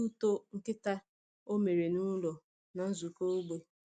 Ọ wetara ihe ụtọ nkịta o mere n’ụlọ na nzukọ ógbè.